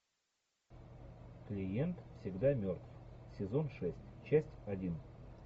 клиент всегда мертв сезон шесть часть один